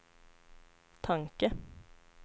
tanke